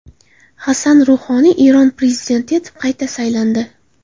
Hasan Ruhoniy Eron prezidenti etib qayta saylandi.